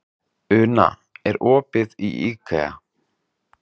Una, er opið í IKEA?